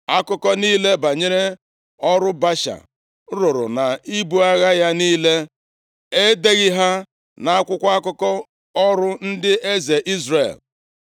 Akụkọ niile banyere ọrụ Baasha rụrụ, na ibu agha ya niile, e deghị ha nʼakwụkwọ akụkọ ọrụ ndị eze Izrel?